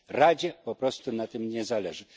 Radzie po prostu na tym nie zależy.